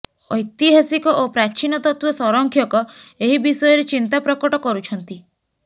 ଐତିହାସିକ ଓ ପ୍ରାଚୀନତତ୍ତ୍ୱ ସଂରକ୍ଷକ ଏହି ବିଷୟରେ ଚିନ୍ତା ପ୍ରକଟ କରୁଛନ୍ତି